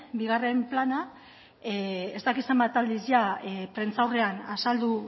bigarren plana ez dakit zenbat aldiz jada prentsaurrean azaldu